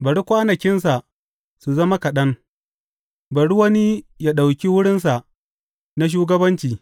Bari kwanakinsa su zama kaɗan; bari wani yă ɗauki wurinsa na shugabanci.